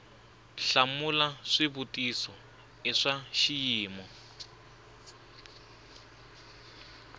hlamula xivutiso i swa xiyimo